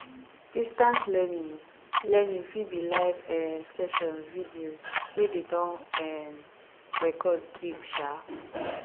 distance learning learning fit be live um sessions videos wey dem don um record keep um